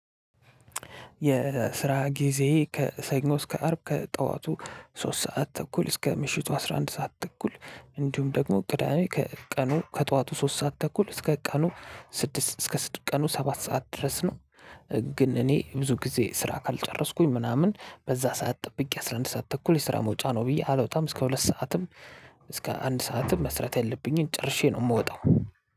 የስራ ጊዜ ከሰኞ እስከ አርብ ከጠዋቱ ሶስት ሰዓት ተኩል እስከ ምሽቱ አስራ አንድ ሰዓት ተኩል እንዲሁም ደግሞ ቅዳሜ ከቀኑ ከጠዋቱ ሶስት ሰዓት ተኩል እስከ ቀኑ ስድስት እስከ ስድስት ቀኑ ሰባት ሰዓት ድረስ ነው። ግን እኔ ብዙ ጊዜ ስራ ካልጨረስኩኝ ምናምን በዛ ሰዓት ጠብቄ አስራ አንድ ሰዓት ተኩል የስራ መውጫ ነው ብዬ አልወጣም እስከ ሁለት ሰዓትም። እስከ አንድ ሰዓትም መስራት ያለብኝን ጨርሼ ነው የምወጣው።